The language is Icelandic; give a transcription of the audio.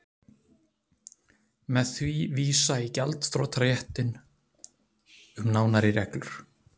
Má því vísa í gjaldþrotaréttinn um nánari reglur.